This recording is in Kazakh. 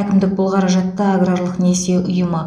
әкімдік бұл қаражатты аграрлық несие ұйымы